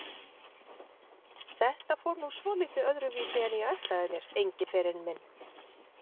Þetta fór nú svolítið öðruvísi en ég ætlaði mér, Engiferinn minn.